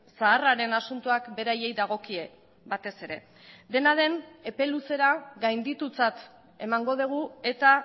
zaharraren asuntoak beraiei dagokie batez ere dena den epe luzera gainditutzat emango dugu eta